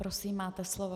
Prosím, máte slovo.